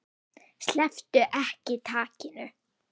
Slepptu ekki takinu.